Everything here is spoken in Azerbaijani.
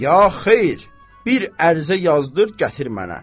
Ya xeyr, bir ərizə yazdır, gətir mənə.